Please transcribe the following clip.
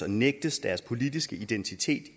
og nægtes deres politiske identitet